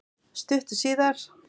Stuttu síðar